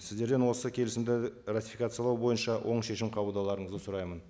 сіздерден осы келісімді ратификациялау бойынша оң шешім қабылдауларыңызды сұраймын